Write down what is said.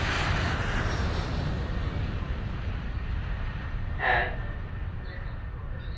ওজোনস্তর রয়েছে বায়ুমন্ডলের হ্যাঁ ওটাই কিছু কিছু জায়গায় ফুটো হয়েগেছে,